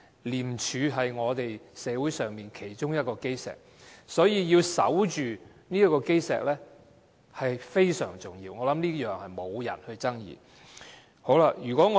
廉署是我們社會其中一個基石，所以要守着這個基石非常重要，我覺得這是沒有人會爭議的。